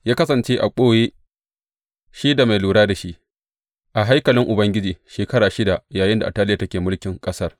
Ya kasance a ɓoye, shi da mai lura da shi, a haikalin Ubangiji shekara shida yayinda Ataliya take mulkin ƙasar.